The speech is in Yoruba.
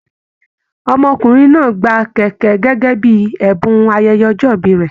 Ọmọkùnrin náà gbà kẹkẹ gẹgẹ bíi ẹbùn ayẹyẹ ọjọ ìbí rẹ.